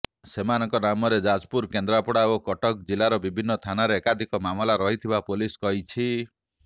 ସେମାନଙ୍କ ନାମରେ ଯାଜପୁର କେନ୍ଦ୍ରାପଡ଼ା ଓ କଟକ ଜିଲ୍ଲାର ବିଭିନ୍ନ ଥାନରେ ଏକାଧିକ ମାମଲା ରହିଥିବା ପୋଲିସ କହିଛି